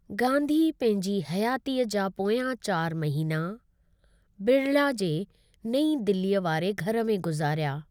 गांधी पंहिंजी हयातीअ जा पोयां चारि महीना बिड़ला जे नई दिल्लीअ वारे घरु में गुजारिया।